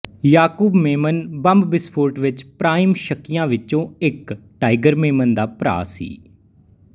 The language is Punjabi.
ਯਾਕੂਬ ਮੇਮਨ ਬੰਬ ਵਿਸਫੋਟ ਵਿੱਚ ਪ੍ਰਾਈਮ ਸ਼ੱਕੀਆਂ ਵਿੱਚੋਂ ਇੱਕ ਟਾਇਗਰ ਮੇਮਨ ਦਾ ਭਰਾ ਸੀ